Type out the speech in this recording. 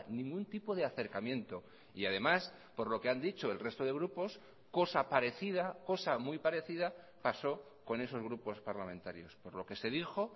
ningún tipo de acercamiento y además por lo que han dicho el resto de grupos cosa parecida cosa muy parecida pasó con esos grupos parlamentarios por lo que se dijo